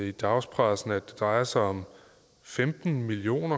i dagspressen at det drejer sig om femten million